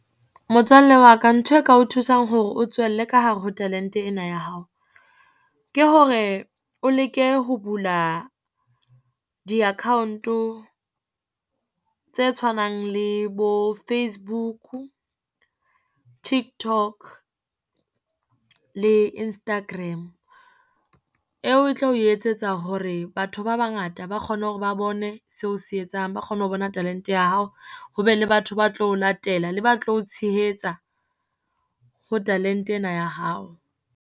Motswalle wa ka ntho e ka o thusang hore o tswelle ka hare ho talente ena ya hao, ke hore o leke ho bula di-account tse tshwanang le bo Facebook, Tiktok le Instagram, eo e tlo etsetsa hore batho ba bangata ba kgone hore ba bone seo o se etsang. Ba kgone ho bona talente ya hao, ho be le batho ba tlo o latela, le ba tlo ho tshehetsa ho talente ena ya hao.